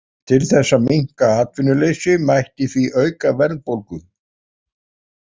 Til þess að minnka atvinnuleysi mætti því auka verðbólgu.